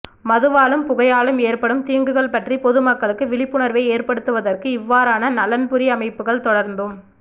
மதுவாலும் புகையாலும் ஏற்படும் தீங்குகள் பற்றி பொதுமக்களுக்கு விழிப்புணர்வை ஏற்படுத்துவதற்கு இவ்வாறான நலன்புரி அமைப்புகள் தொடர்ந்தும்